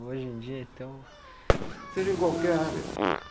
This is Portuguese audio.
Hoje em dia, então... Seja em qualquer área.